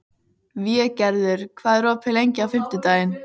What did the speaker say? Végerður, hvað er opið lengi á fimmtudaginn?